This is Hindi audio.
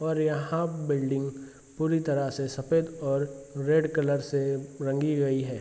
और यहां बिल्डिंग पूरी तरह से सफेद और रेड कलर से रंगी गई है।